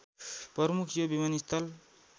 प्रमुख यो विमानस्थल